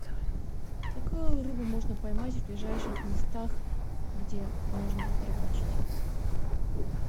какую рыбу можно поймать в ближайших местах где можно рыбачить